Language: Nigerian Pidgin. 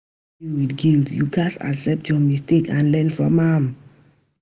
If you wan deal wit guilt, you gats accept your mistake and learn from am